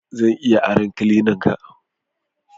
Zan iya aron cleanan ka?